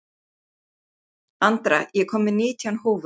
Andra, ég kom með nítján húfur!